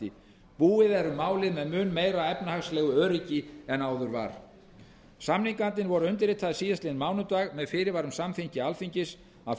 er um málið með mun meira efnahagslegu öryggi en áður var viðaukasamninga samningarnir voru undirritaðir síðastliðinn mánudag með fyrirvara um samþykki alþingis af